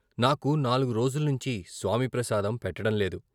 నాకు నాల్గు రోజుల్నించి స్వామి ప్రసాదం పెట్టడంలేదు.